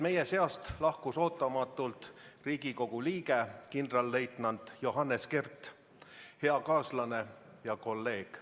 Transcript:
Meie seast lahkus ootamatult Riigikogu liige kindralleitnant Johannes Kert, hea kaaslane ja kolleeg.